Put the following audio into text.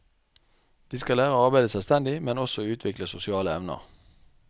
De skal lære å arbeide selvstendig, men også utvikle sosiale evner.